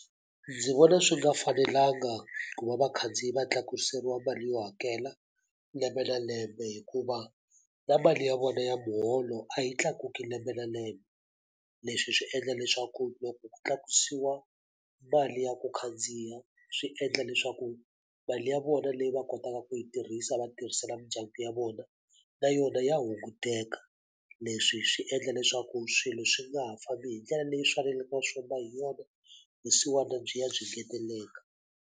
Ndzi vona swi nga fanelanga ku va vakhandziyi va tlakuseriwa mali yo hakela lembe na lembe hikuva, na mali ya vona ya muholo a yi tlakuki lembe na lembe. Leswi swi endla leswaku loko ku tlakusiwa mali ya ku khandziya swi endla leswaku mali ya vona leyi va kotaka ku yi tirhisa va tirhisela mindyangu ya vona, na yona ya hunguteka. Leswi swi endla leswaku swilo swi nga ha fambi hi ndlela leyi faneleke swi famba hi yona, vusiwana byi ya byi ngeteleleka.